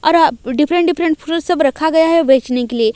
अर different different फूल सब रखा गया है बेचने के लिए।